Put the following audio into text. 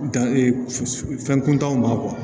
Dan fɛn kuntanw ma